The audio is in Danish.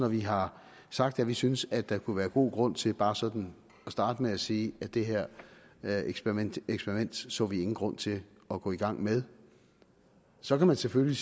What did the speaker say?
vi har sagt at vi synes at der kunne være god grund til bare sådan at starte med at sige at det her her eksperiment så vi ingen grund til at gå i gang med så kan man selvfølgelig